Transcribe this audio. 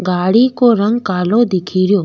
गाड़ी को रंग कालो दिखेरो।